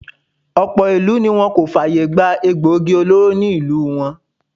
Ọ̀pọ̀ ìlú ni wọ́n kò fàyè gbà egboògi olóró ní ìlú wọn.